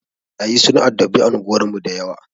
Ɓarayi sun addabi anguwar mu dayawa.